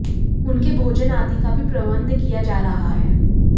उनके भोजन आदि का भी प्रबंध किया जा रहा है